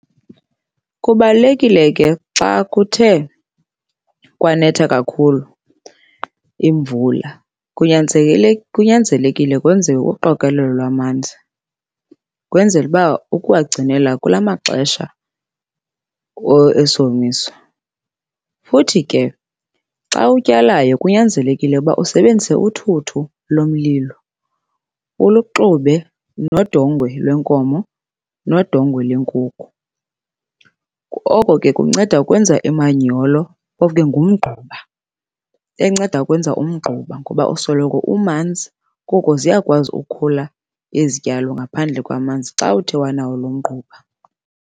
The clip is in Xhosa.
Kubalulekile ke xa kuthe kwanetha kakhulu imvula kunyanzelekile kwenziwe uqokolela lwamanzi kwenzele uba ukuwagcinela kula maxesha esomiso. Futhi ke xa utyalayo kunyanzelekile uba usebenzise uthuthu lomlilo, uluxube nodongwe lwenkomo, nodongwe lwenkukhu. Oko ke kunceda ukwenza imanyolo, phofu ke ngumgquba. Enceda ukwenza umgquba ngoba usoloko umanzi koko ziyakwazi ukukhula izityalo ngaphandle kwamanzi xa uthe wanawo lo mgquba.